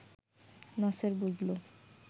নাসের বুঝল